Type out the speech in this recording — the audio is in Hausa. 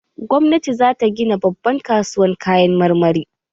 Gwamnati za ta gina babban kasuwar Kayan marmari